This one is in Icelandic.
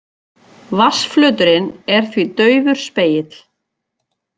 Vatnsflöturinn er því daufur spegill.